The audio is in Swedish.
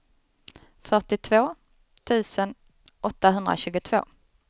fyrtiotvå tusen åttahundratjugotvå